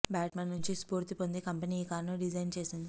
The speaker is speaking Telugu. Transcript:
బ్యాట్మ్యాన్ నుంచి స్ఫూర్తి పొంది కంపెనీ ఈ కారును డిజైన్ చేసింది